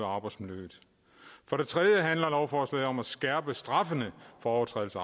arbejdsmiljøet for det tredje handler lovforslaget om at skærpe straffene for overtrædelse